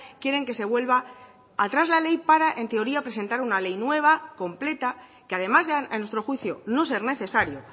quieren que se vuelva atrás la ley para en teoría presentar una ley nueva completa que además a nuestro juicio no ser necesario